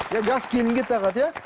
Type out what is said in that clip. жас келінге тағады иә